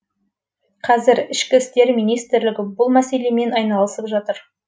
қазір ішкі істер министрлігі бұл мәселемен айналысып жатыр